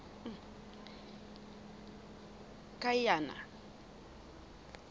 kiana